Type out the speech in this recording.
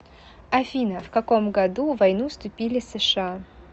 афина в каком году в войну вступили сша